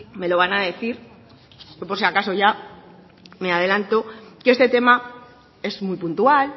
me lo va a decir yo por si acaso ya me adelanto que este tema es muy puntual